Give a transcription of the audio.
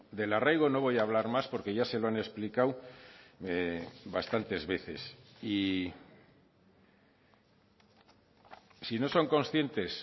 del arraigo no voy a hablar más porque ya se lo han explicado bastantes veces y si no son conscientes